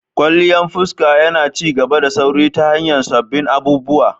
Kwalliyan fuska yana ci gaba da sauri ta hanyar sabbin abubuwa.